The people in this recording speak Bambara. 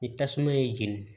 Ni tasuma ye jeni